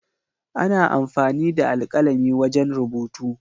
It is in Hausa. Ana amfani da alkalami wajen rubutu.